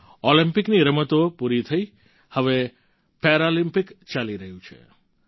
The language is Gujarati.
ઓલમ્પિકની રમતો પૂરી થઈ હવે પેરાલિમ્પિક ચાલી રહ્યો છે